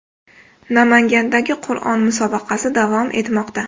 Namangandagi Qur’on musobaqasi davom etmoqda.